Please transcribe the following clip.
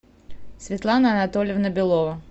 светлана анатольевна белова